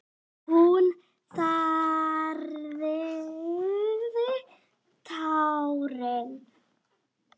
Hún þerraði tárin.